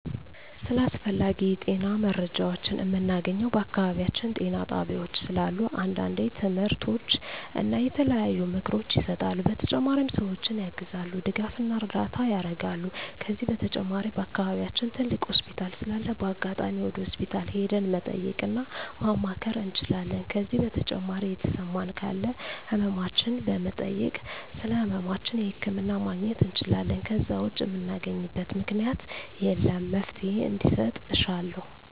ስለ አስፈላጊ የጤና መረጃዎችን ምናገኘው በአካባቢያችን ጤና ጣቤያዎች ስላሉ አንዳንዴ ትምህርቶች እና የተለያዩ ምክሮች ይሰጣሉ በተጨማሪ ሰዎችን ያግዛሉ ድጋፍና እርዳታ ያረጋሉ ከዚህ በተጨማሪ በአከባቢያችን ትልቅ ሆስፒታል ስላለ በአጋጣሚ ወደ ሆስፒታል ሄደን መጠየቅ እና ማማከር እንችላለን ከዜ በተጨማሪ የተሰማን ካለ ህመማችን በመጠየክ ስለህመማችን ህክምና ማግኘት እንችላለን ከዜ ውጭ ምናገኝበት ምክኛት የለም እና መፍትሔ እንዲሰጥ እሻለሁ